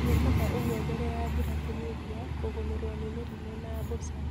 Wikaga ũguo mbele ya mbura kũnyihia kũgũmirwo ni mĩrimũ na mbũca